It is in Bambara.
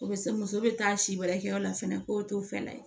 O bɛ se muso bɛ taa si wɛrɛ kɛ yɔrɔ la fɛnɛ ko to fana